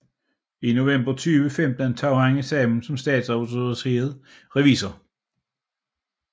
I november 2015 tog han eksamen som statsautoriseret revisor